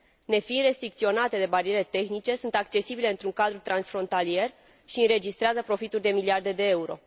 Nefiind restricționate de bariere tehnice, acestea sunt accesibile într un cadru transfrontalier și înregistrează profituri de miliarde de euro.